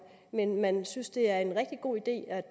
men man synes det er en rigtig god idé at